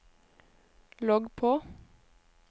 logg på